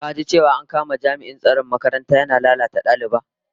Ka ji cewa an kama jami'in tsaron makaranta yana lalata da daliba?